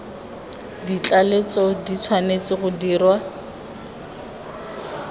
tlaleletso di tshwanetse go dirwa